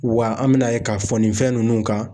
Wa an bina ye k'a fɔ nin fɛn ninnu kan.